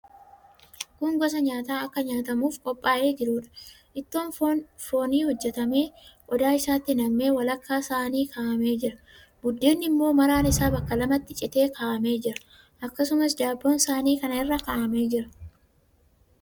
Kun gosa nyaataa akka nyaatamuuf qophaa'ee jiruudha. Ittoon foonii hojjetamee, qodaa isaatti nam'ee walakkaa saanii kaa'amee jira. Buddeenni immoo maraan isaa bakka lamatti citee kaa'amee jira. Akkasumas, daabboon saanii kana irra kaa'amee jira.